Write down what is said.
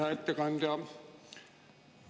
Hea ettekandja!